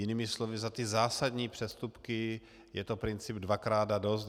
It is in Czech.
Jinými slovy, za ty zásadní přestupky je to princip dvakrát a dost.